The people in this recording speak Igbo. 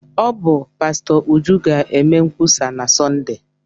Ọ bụ pastọ Uju ga-eme nkwusa na Sọnde.